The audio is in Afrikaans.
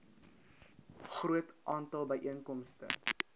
groot aantal byeenkomste